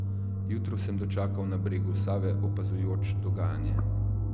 Jutro sem dočakal na bregu Save opazujoč dogajanje.